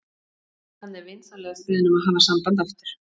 Hann er vinsamlegast beðinn um að hafa samband aftur.